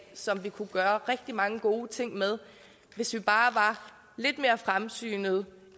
som vi kunne gøre rigtig mange gode ting med hvis vi bare var lidt mere fremsynede